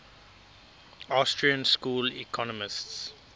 austrian school economists